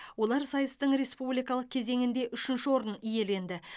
олар сайыстың республикалық кезеңінде үшінші орынды иеленді